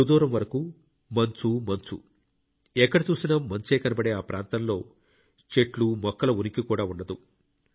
సుదూరం వరకు మంచుమంచు ఎక్కద చూసినా మంచే కనబడే ఆ ప్రాంతంలో చెట్లు మొక్కల ఉనికి కూడా ఉండదు